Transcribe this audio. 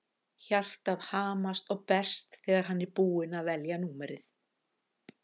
Hjartað hamast og berst þegar hann er búinn að velja númerið.